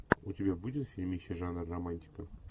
у тебя будет фильмище жанр романтика